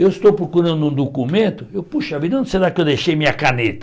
Eu estou procurando um documento, eu, poxa vida, onde será que eu deixei minha caneta?